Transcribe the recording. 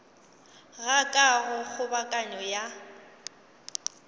ga ka go kgobokano ya